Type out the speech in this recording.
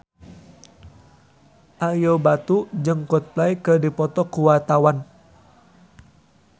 Ario Batu jeung Coldplay keur dipoto ku wartawan